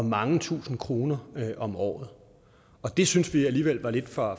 mange tusind kroner om året det synes vi alligevel var lidt for